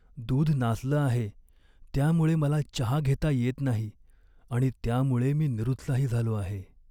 दूध नासलं आहे, त्यामुळे मला चहा घेता येत नाही आणि त्यामुळे मी निरुत्साही झालो आहे.